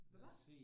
Hva'ba'